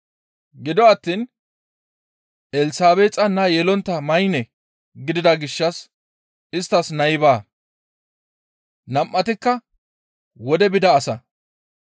Gido attiin Elsabeexa naa yelontta maynne gidida gishshas isttas nay baa; nam7atikka wodey bida asa.